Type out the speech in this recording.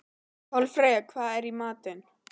Kolfreyja, hvað er í matinn?